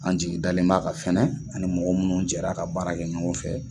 An jigi dalen b'a ka f ani mɔgɔ munnu jɛra ka baara kɛ ɲɔgɔn fɛ